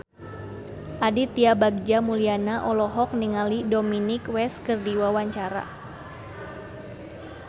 Aditya Bagja Mulyana olohok ningali Dominic West keur diwawancara